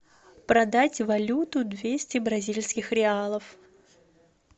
продать валюту двести бразильских реалов